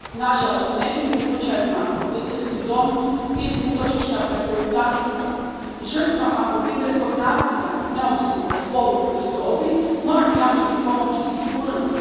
Nažalost, u nekim se slučajevima obiteljski dom iz utočišta pretvori u tamnicu. Žrtvama obiteljskog nasilja, neovisno o spolu ili dobi, moramo jamčiti pomoć i sigurnost.